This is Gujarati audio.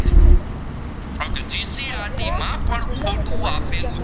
GCRT માં પણ ખોટો આપેલું